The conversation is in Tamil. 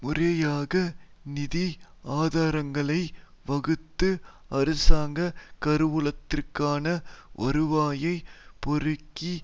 முறையாக நிதி ஆதாரங்களை வகுத்து அரசாங்க கருவூலத்திற்கான வருவாயைப் பெருக்கி